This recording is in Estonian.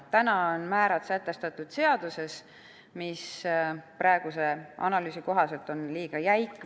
Praegu on määrad sätestatud seaduses, see süsteem on aga analüüsi kohaselt on liiga jäik.